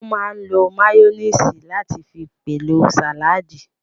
Wọ́n máa n lo máyóníìsì láti fi pèlò sàládì